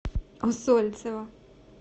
усольцева